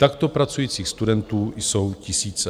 Takto pracujících studentů jsou tisíce.